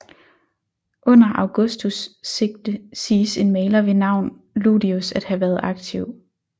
Under Augustus siges en maler ved navn Ludius at have været aktiv